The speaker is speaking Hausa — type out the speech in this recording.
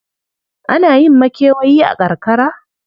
Ana yin makewayi a karkara?